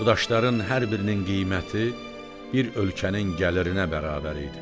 Bu daşların hər birinin qiyməti bir ölkənin gəlirinə bərabər idi.